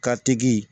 Ka tigi